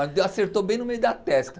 Acertou bem no meio da testa.